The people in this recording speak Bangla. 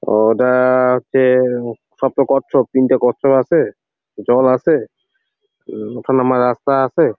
ওটা হচ্ছে সব তো কচ্ছপ তিনটে কচ্ছপ আছে জল আছে উম ওটা নামা রাস্তা আছে।